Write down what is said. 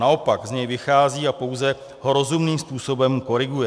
Naopak z něj vychází a pouze ho rozumným způsobem koriguje.